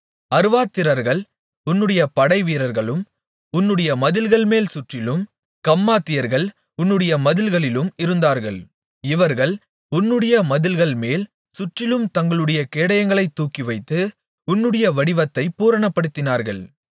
அர்வாத்திரர்கள் உன்னுடைய படைவீரர்களும் உன்னுடைய மதில்கள்மேல் சுற்றிலும் கம்மாத்தியர்கள் உன்னுடைய மதில்களிலும் இருந்தார்கள் இவர்கள் உன்னுடைய மதில்கள்மேல் சுற்றிலும் தங்களுடைய கேடயங்களைத் தூக்கிவைத்து உன்னுடைய வடிவத்தைப் பூரணப்படுத்தினார்கள்